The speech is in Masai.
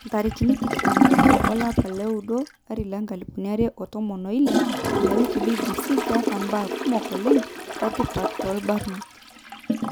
21 olapa lioudo 2016 ina wiki BBC Ketaa mbaa kumok oleng etipat tobarnot.